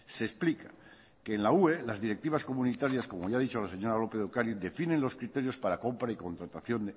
se explica que en la ue las directivas comunitarias como ya ha dicho la señora lópez de ocariz definen los criterios para compra y contratación